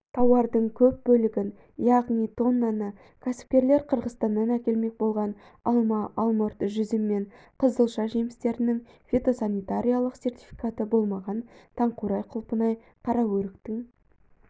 тауардың көп бөлігін яғни тоннаны кәсіпкерлер қырғызстаннан әкелмек болған алма алмұрт жүзім мен қызылша жемістерінің фитосанитариялық сертификаты болмаған таңқурай құлпынай қараөріктің